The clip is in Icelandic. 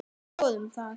Skoðum það.